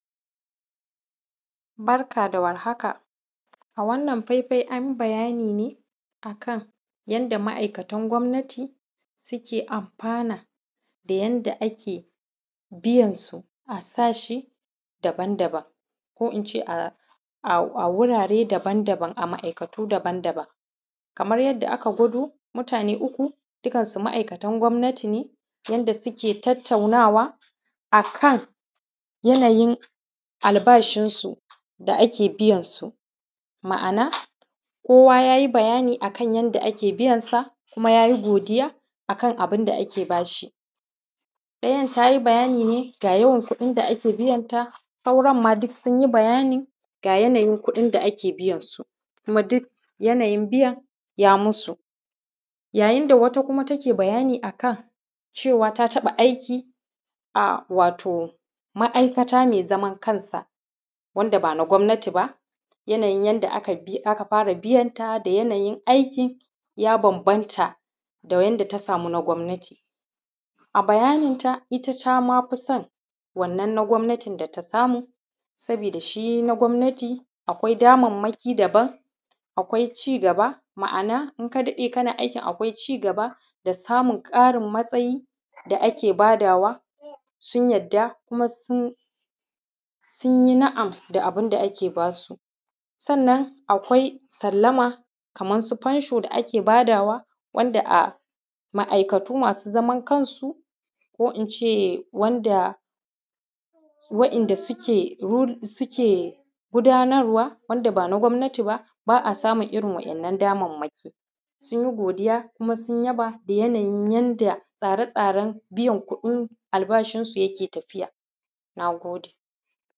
Barka da warhaka a wannan faifai an bayani ne akan yadda ma’aikatan gwamnati suke amfana da yanda ake biyansu a sashi daban-daban ko in ce a wurare daban-daba a ma’aikatu daban-daban kamar yadda ake gwado mutane uku dukansu ma’aikatan gwamnati ne yanda suke tattaunawa akan yanayin albashinsu da ake biyansu, ma’ana kowa ya yi bayani akan yanda biyansa kuma ya yi godiya akan abin da ake ba shi; ɗayan ta yi bayani ne ga yawan kuɗin da ake biyanta. Sauranma duk sun yi bayani ga yanayin kuɗin da ake biyansu kuma duk yanayin biyan ya musu, yayin da wata kuma take bayani akan cewa ta taɓa aiki a wato ma’aikata me zamankanta wanda ba na gwamnati ba yanayin yadda aka fara biyanta da yanayin aiki ya bambanta da yanda ya samu na gwamnati. A bayaninta ita ta ma fi son wannan na gwamnatin ta samu saboda shi na gwamnatin akwai damanmaki daban akwai ci gaba ma’ana in ka daɗe kana aikin akwai ci gaba da samun matsayi da ake ba dawa, sun yarda kuma sun yi na’am da abun da ake ba su sannan akwai sallama kaman su fensho da ake ba dawa wanda a ma’aikatu masu zaman kansu ko in ce wanda wa’inda suke hur suke gudanarwa wanda ba na gwamnati ba ba a samun irin waɗannan damanmaki, sun yi godiya kuma sun yaba da yanayin yanda tsare-tsaren biyan kuɗin albashin su yake tafiya. Na gode.